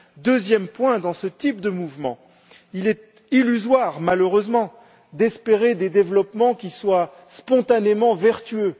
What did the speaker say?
Deuxième point, dans ce type de mouvement, il est illusoire, malheureusement, d'espérer des développements qui soient spontanément vertueux.